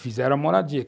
Fizeram a moradia.